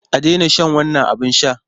A daina shan wannan abin sha!